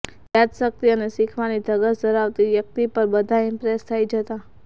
યાદશક્તિ અને શીખવાની ધગશ ધરાવતી વ્યક્તિ પર બધા ઇમ્પ્રેસ થઈ જતાં